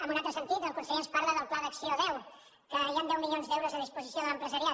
en un altre sentit el conseller ens parla del pla d’acció deu que hi han deu milions d’euros a disposició de l’empresariat